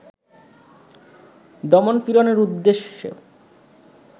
দমন-পীড়নের উদ্দেশ্য